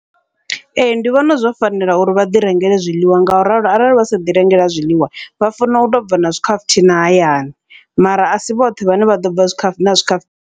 Ee, ndi vhona zwo fanela uri vha ḓi rengele zwiḽiwa, ngauralo arali vha sa ḓi rengela zwiḽiwa vha fanela u tobva na zwikhafuthina hayani, mara asi vhoṱhe vhane vha ḓobva na zwikhafu zwikhafu.